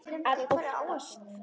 Að óttast!